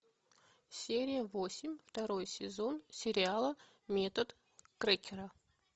серия восемь второй сезон сериала метод крекера